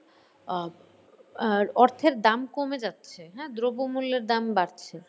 আর অর্থের দাম কমে যাচ্ছে হ্যাঁ দ্রব্যমূল্যের দাম বাড়ছে।